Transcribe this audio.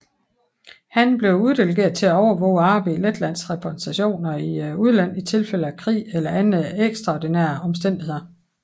Han blev uddelegeret til at overvåge arbejdet i Letlands repræsentationer i udlandet i tilfælde af krig eller andre ekstraordinære omstændigheder